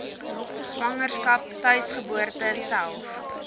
swangerskap tuisgeboorte self